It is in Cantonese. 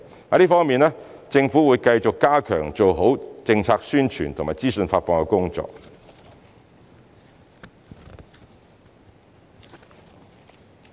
在這方面，政府會繼續加強及做好政策宣傳和資訊發放的工作。